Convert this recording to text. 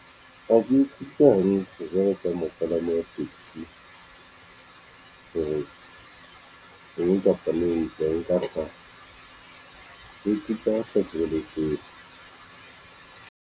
Ha ke ikutlwe hantle jwalo ka mo palami taxi, ho re eng kapa le eng ha e ka hlaha ya sa sebetseng.